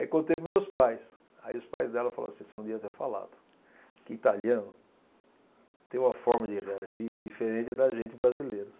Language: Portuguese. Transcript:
Aí contei para os meus pais, aí os pais dela falaram assim, você não devia ter falado, que italiano tem uma forma de reagir diferente da gente brasileiros.